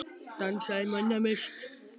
Dansaði manna mest.